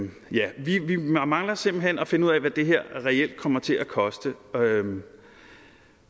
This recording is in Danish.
det vi mangler simpelt hen at finde ud af hvad det her reelt kommer til at koste